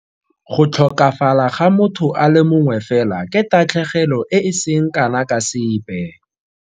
Go tlhokafala ga motho a le mongwe fela ke tatlhegelo e e seng kana ka sepe.